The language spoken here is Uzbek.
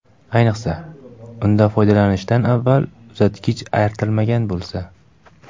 Ayniqsa, undan foydalanishdan avval uzatgich artilmagan bo‘lsa.